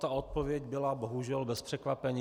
Ta odpověď byla bohužel bez překvapení.